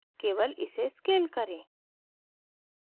scale इसे scale करें